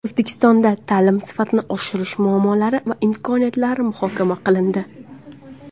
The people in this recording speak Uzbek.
O‘zbekistonda ta’lim sifatini oshirish muammolari va imkoniyatlari muhokama qilindi.